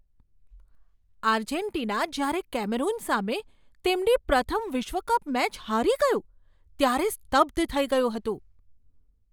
Argentina જ્યારે Cameroon સામે તેમની પ્રથમ વિશ્વ કપ મેચ હારી ગયું, ત્યારે સ્તબ્ધ થઈ ગયું હતું.